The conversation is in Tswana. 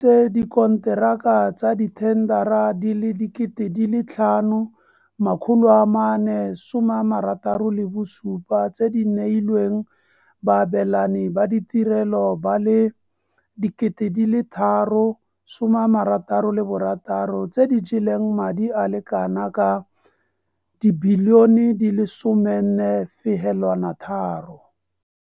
Tse dikonteraka tsa dithendara di le 5 467 tse di neilweng baabelani ba ditirelo ba le 3 066 tse di jeleng madi a le kanaka R14.3 bilione.